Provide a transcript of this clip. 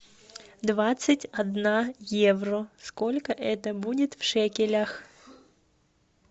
двадцать одна евро сколько это будет в шекелях